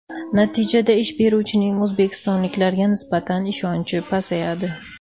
Natijada ish beruvchining o‘zbekistonliklarga nisbatan ishonchi pasayadi.